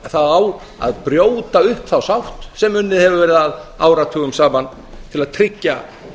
það á að brjóta upp þá sátt sem unnið hefur verið að áratugum saman til að tryggja